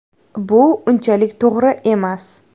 Bu unchalik to‘g‘ri emas.